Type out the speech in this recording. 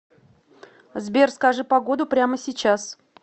сбер скажи погоду прямо сейчас